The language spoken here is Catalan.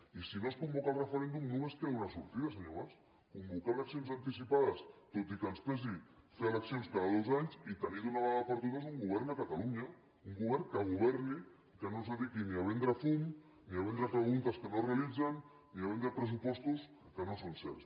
i si no es convoca el referèndum només queda una sortida senyor mas convocar eleccions anticipades tot i que ens pesi fer eleccions cada dos anys i tenir d’una vegada per totes un govern a catalunya un govern que governi i que no es dediqui ni a vendre fum ni a vendre preguntes que no es realitzen ni a vendre pressupostos que no són certs